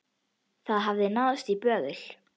Það hafði náðst í böðul.